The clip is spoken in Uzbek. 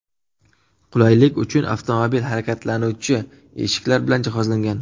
Qulaylik uchun avtomobil harakatlanuvchi eshiklar bilan jihozlangan.